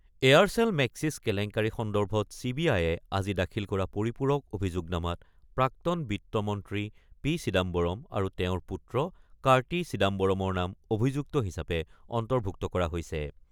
এয়াৰচেল-মেক্সিছ কেলেংকাৰী সন্দৰ্ভত C B আই-এ আজি দাখিল কৰা পৰিপূৰক অভিযোগনামাত প্ৰাক্তন বিত্ত মন্ত্ৰী পি চিদাম্বৰম আৰু তেওঁৰ পুত্ৰ কাৰ্টি চিদাম্বৰমৰ নাম অভিযুক্ত হিচাপে অন্তৰ্ভুক্ত কৰা হৈছে।